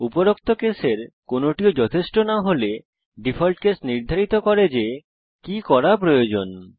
উপরোক্ত কেসের কোনটিও যথেষ্ট না হলে ডিফল্ট কেস নির্ধারিত করে যে কি করা প্রয়োজন